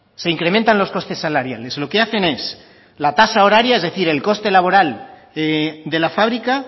se incrementan los costes salariales lo que hacen es la tasa horaria es decir el coste laboral de la fábrica